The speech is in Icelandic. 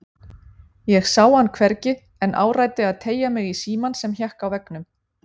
Ég sá hann hvergi en áræddi að teygja mig í símann sem hékk á veggnum.